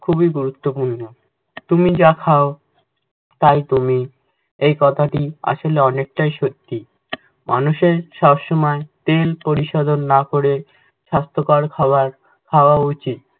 খুবই গুরুত্বপূর্ণ। তুমি যা খাও তাই তুমি, এই কথাটি আসলে অনেকটাই সত্যি। মানুষের সব সময় পরিশোধন না করে স্বাস্থকর খাবার খাওয়া উচিত।